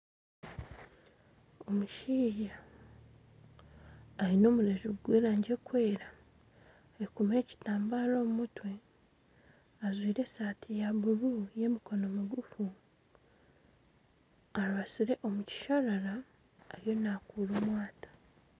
Omushaija aine omureju gw'erangi erukwera ayekomire ekitambara omumutwe ajwire esati ya buuru y'emikono migufu arubasire omu kisharara ariyo nakuura omwata